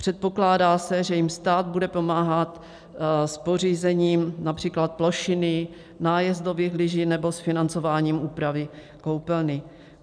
Předpokládá se, že jim stát bude pomáhat s pořízením například plošiny, nájezdových lyží nebo s financováním úpravy koupelny.